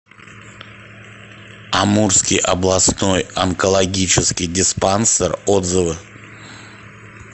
амурский областной онкологический диспансер отзывы